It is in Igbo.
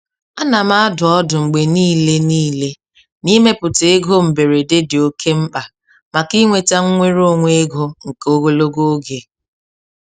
A na m adụ ọdụ mgbe niile niile na ịmepụta ego mberede dị oke mkpa maka inweta nnwere onwe ego nke ogologo oge.